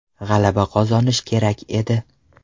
G‘alaba qozonish kerak edi.